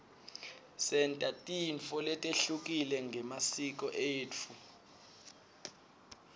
senta tintfo letehlukile ngemasiko etfu